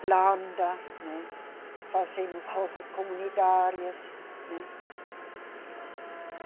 planta, né, fazemos roças comunitárias, né. E